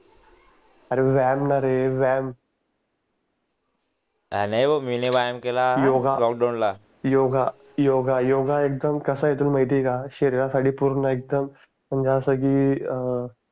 अरे व्यायाम न रे व्यायाम नाही नाही मी ने व्यायाम केला लॉकडाउन ला योगा योगा एकदम कसं आहे तुला माहिती आहे का एशरीरसाठी पूर्ण एकदम अस क अं